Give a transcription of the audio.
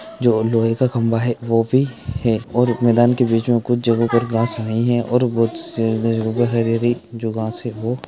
जो लोहे का खम्बा है वो भी मैदान के बिच में कुछ जगा पर घास नहीं है और जो घास है वो